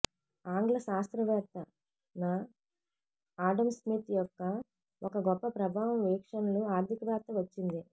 ఆంగ్ల శాస్త్రవేత్త న ఆడమ్ స్మిత్ యొక్క ఒక గొప్ప ప్రభావం వీక్షణలు ఆర్థికవేత్త వచ్చింది